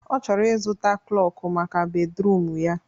Ọ chọrọ ịzụta klọkụ maka bedruum ya